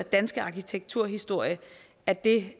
danske arkitekturhistorie at det